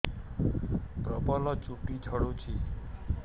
ପ୍ରବଳ ଚୁଟି ଝଡୁଛି